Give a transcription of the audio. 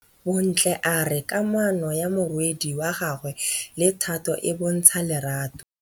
Bontle a re kamanô ya morwadi wa gagwe le Thato e bontsha lerato.